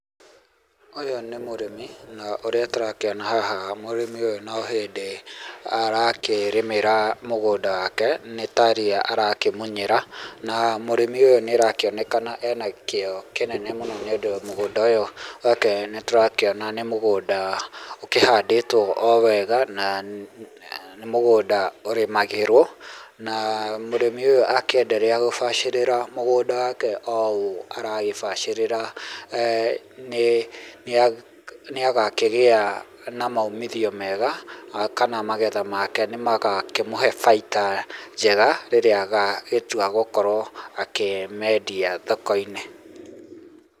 Ũyũ nĩ mũrĩmi na ũrĩa tũrakĩona haha mũrĩmi ũyũ no hĩndĩ arakĩrĩmĩra mũgũnda wake nĩ ta ria arakĩmunyĩra na mũrĩmi ũyũ nĩ arakĩonekana ena kĩo kĩnene mũno, nĩ ũndũ mũgũnda ũyũ wake nĩtũrakĩona nĩ mũgũnda ũkĩhandĩtwo o wega, na nĩ mũgũnda ũrĩmagĩrwo, na mũrĩmĩ ũyũ akĩ endelea gũbacĩrĩra mũgũnda wake o ũũ aragĩbacĩrĩra eeh nĩ nĩ agakĩgĩa na maumithio mega, kana magetha make nĩ magakĩmũhe baita njega, ĩrĩa agagĩtua gũkorwo akĩmĩendia thoko-inĩ.